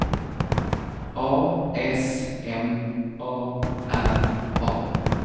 A S M A R A